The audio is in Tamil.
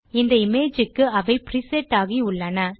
இந்த இமேஜ் க்கு அவை பிரிசெட் ஆகி உள்ளன